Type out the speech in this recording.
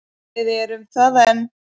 Við erum það enn.